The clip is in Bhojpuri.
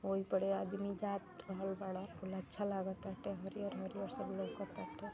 वही पड़े आदमी जात रहल बाड़न कुल अच्छा लागताटे हरियर-हरियर सब लउका ताटे।